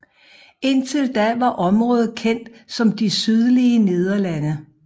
Indtil da var området kendt som de sydlige Nederlande